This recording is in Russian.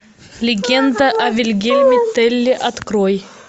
легенда о вильгельме телле открой